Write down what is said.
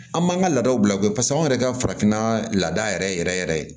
An m'an ka laadaw bila u kɛ pasa anw yɛrɛ ka farafinna laada yɛrɛ yɛrɛ yɛrɛ